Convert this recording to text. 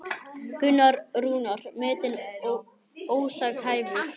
Gunnar Rúnar metinn ósakhæfur